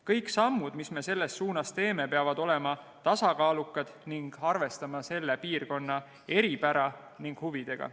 Kõik sammud, mis me selles suunas teeme, peavad olema tasakaalukad ning arvestama selle piirkonna eripära ja huvidega.